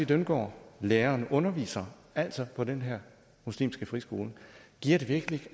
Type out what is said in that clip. dyndgaard læreren underviser altså på den her muslimske friskole giver det virkelig